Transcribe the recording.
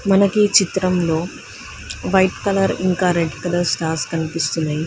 మనకి ఈ చిత్రం లో వైట్ కలర్ ఇంకా రెడ్ కలర్ స్టార్స్ కనిపిస్తున్నాయి.